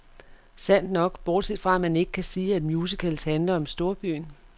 Sandt nok, bortset fra, at man ikke kan sige, at musicals handler om storbyen.